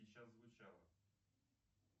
сейчас звучала